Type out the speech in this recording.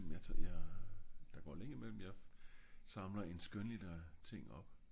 der går lang tid i mellem jeg samler en skønlitterær ting op